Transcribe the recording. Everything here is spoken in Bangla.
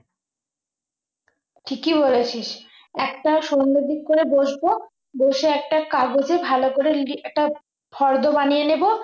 ঠিকই বলেছিস একটা সন্ধ্যের দিক করে বসব বসে একটা কাগজে ভালো করে লিখে একটা ফর্দ বানিয়ে নেব